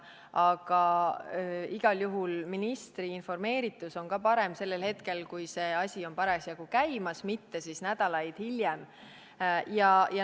Aga igal juhul on ka ministri informeeritus parem sellel hetkel, kui asi on parasjagu käimas, mitte nädalaid hiljem.